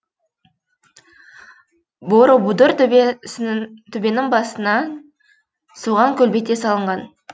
боробудур төбенің басына соған көлбете салынған